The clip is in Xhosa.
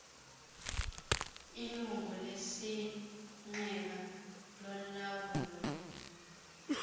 ilungu lesigqeba lolawulo